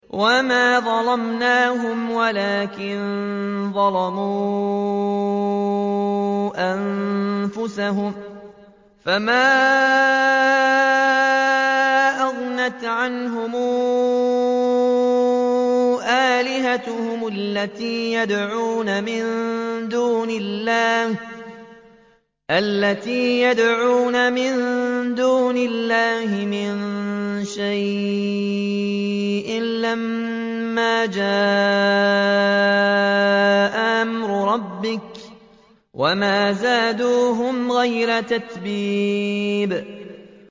وَمَا ظَلَمْنَاهُمْ وَلَٰكِن ظَلَمُوا أَنفُسَهُمْ ۖ فَمَا أَغْنَتْ عَنْهُمْ آلِهَتُهُمُ الَّتِي يَدْعُونَ مِن دُونِ اللَّهِ مِن شَيْءٍ لَّمَّا جَاءَ أَمْرُ رَبِّكَ ۖ وَمَا زَادُوهُمْ غَيْرَ تَتْبِيبٍ